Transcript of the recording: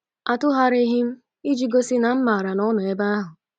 Atụgharịghị m, iji gosi na m mara na ọ nọ ebe ahụ.